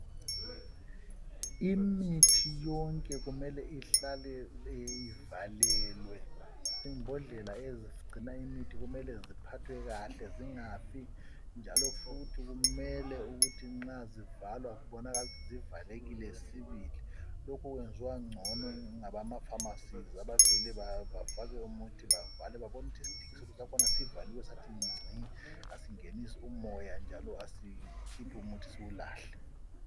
Imithi yonke kumele ihlale ivalelwe . Imbodlela ezigcinw imithi kumele ziphathwe kahle zingafi njalo futhi kumele ukuthi nxa zivalwa kubonakale ukuthi zivalekile sibili. Lokhu kwenziwa ngcono ngabamafamasi babone ukuthi isidikiselo sakhona sivale sathi ngci , asingenisi umoya njalo asikhuphi umuthi siwulahle.